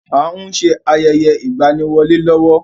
À ń ṣe ayẹyẹ ìgbaniwọlé lọ́wọ́.